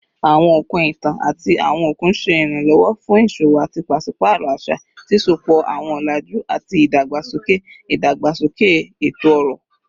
Awọn okun itan ati awọn okun ṣe iranlọwọ fun iṣowo ati paṣipaarọ aṣa, sisopọ awọn ọlaju ati idagbasoke idagbasoke eto-ọrọ